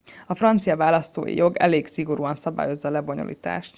a francia választói jog elég szigorúan szabályozza a lebonyolítást